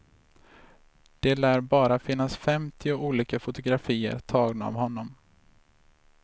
Det lär bara finnas femtio olika fotografier tagna av honom.